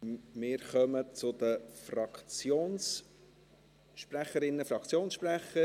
Wir kommen zu den Fraktionssprecherinnen, Fraktionssprechern.